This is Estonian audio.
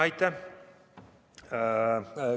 Aitäh!